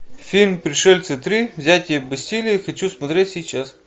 фильм пришельцы три взятие бастилии хочу смотреть сейчас